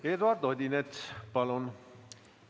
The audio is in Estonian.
Eduard Odinets, palun!